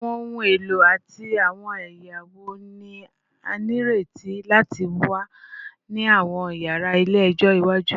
Awọn ohun elo ati awọn ẹya wo ni a nireti lati wa ni awọn yara ile-ẹjọ iwaju?